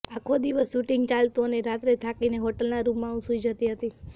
આખો દિવસ શૂટિંગ ચાલતું અને રાત્રે થાકીને હોટલના રૂમમાં હું સૂઈ જતી હતી